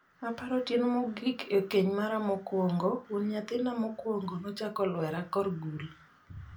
'Aparo otieno no mogik e keny mara mokwongo, wuon nyathina mokwongo nenochako lwera kor gul,